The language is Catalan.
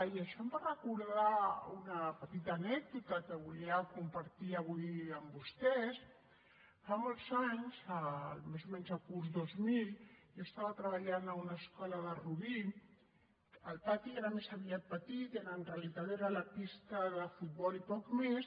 i això em va recordar una petita anècdota que volia compartir avui amb vostès fa molts anys més o menys el curs dos mil jo treballava a una escola de rubí el pati era més aviat petit en realitat era la pista de futbol i poc més